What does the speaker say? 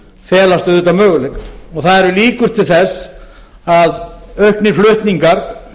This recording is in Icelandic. felast auðvitað möguleikar og það eru líkur til þess að auknir flutningar